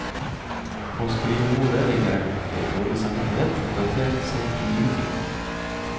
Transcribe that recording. På skrivebordet ligger en bunke dårlig samvittighet, datert sent i juni.